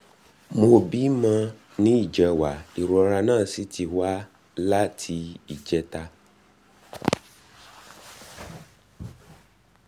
um mo bímọ ní ìjẹwàá ìrora náà sì ti wà láti um ìjẹta